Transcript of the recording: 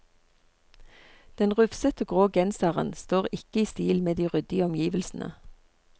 Den rufsete grå genseren står ikke i stil med de ryddige omgivelsene.